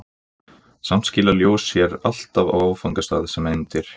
samt skilar ljós sér alltaf á áfangastað sem eindir